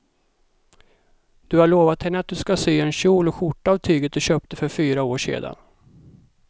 Du har lovat henne att du ska sy en kjol och skjorta av tyget du köpte för fyra år sedan.